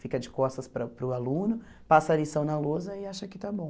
Fica de costas para para o aluno, passa a lição na lousa e acha que está bom.